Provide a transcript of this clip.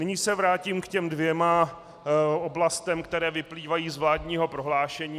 Nyní se vrátím k těm dvěma oblastem, které vyplývají z vládního prohlášení.